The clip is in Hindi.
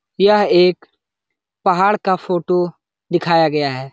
यह एक पहाड़ का फोटो दिखाया गया है।